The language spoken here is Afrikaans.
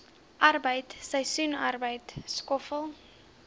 arbeid seisoensarbeid skoffel